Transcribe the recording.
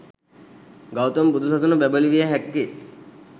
ගෞතම බුදු සසුන බැබලවිය හැක්කේ